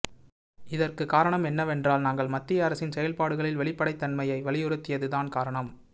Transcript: இதற்கு காரணம் என்னவென்றால் நாங்கள மத்திய அரசின் செயல்பாடுகளில் வெளிப்படைத்தன்மையை வலியுறுத்தியதுதான் காரணம்